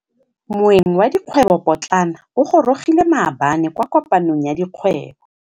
Moêng wa dikgwêbô pôtlana o gorogile maabane kwa kopanong ya dikgwêbô.